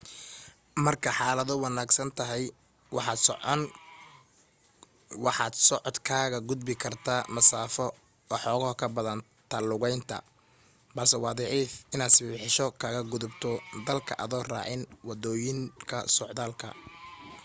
marka xaaladu wanaagsan tahay waxaad socod kaga gudbi kartaa masaafo waxooga ka badan ta lugaynta balse waa dhif inaad sibibixasho kaga gudubto dalka adoo raacin waddooyinka socdaalka